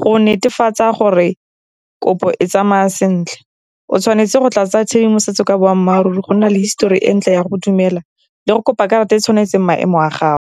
Go netefatsa gore kopo e tsamaya sentle, o tshwanetse go tla tsaya tshedimosetso ka boammaaruri, go nna le histori e ntle ya go dumela le go kopa karata e tshwanetseng maemo a gago.